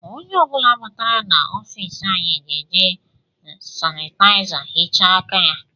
Onye ọ bụla batara na ọfiisi anyị ga-eji sanitayiza hichaa aka ya